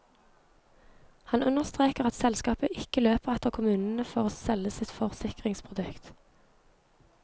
Han understreker at selskapet ikke løper etter kommunene for å selge sitt forsikringsprodukt.